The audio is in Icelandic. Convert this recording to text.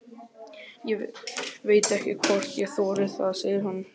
Ég veit ekki hvort ég þori það, segir hann.